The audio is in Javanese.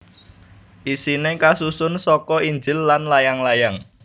Isiné kasusun saka Injil lan layang layang